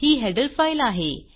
ही header file आहे